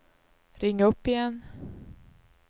ring upp igen